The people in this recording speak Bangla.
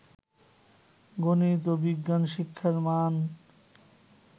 গনিত ও বিজ্ঞান শিক্ষার মান